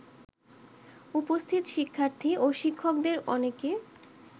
উপস্থিত শিক্ষার্থী ও শিক্ষকদের অনেকে